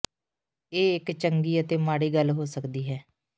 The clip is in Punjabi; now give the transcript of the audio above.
ਇਹ ਇੱਕ ਚੰਗੀ ਅਤੇ ਮਾੜੀ ਗੱਲ ਹੋ ਸਕਦੀ ਹੈ